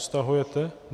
Stahujete?